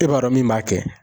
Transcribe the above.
E b'a dɔn min b'a kɛ